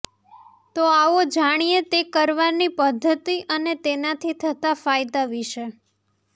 તો આવો જાણીએ તે કરવાની પદ્ધતિ અને તેનાથી થતા ફાયદા વિષે